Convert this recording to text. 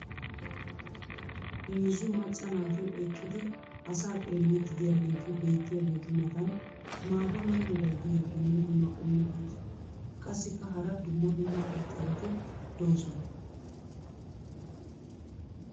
heezzu macca naati eqqidi asaa xeelliidi diyaageeti beetiyaageetu matan maata mala meray diyo dumma dumma qommo dozzati qassikka hara dumma dumma irxxabati doosona.